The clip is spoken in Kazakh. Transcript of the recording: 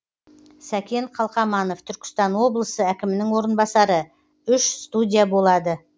сәкен қалқаманов түркістан облысы әкімінің орынбасары үш студия болады